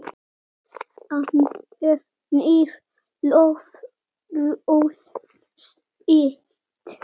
Hann efnir loforð sitt.